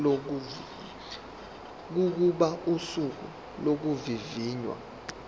kokuba usuku lokuvivinywa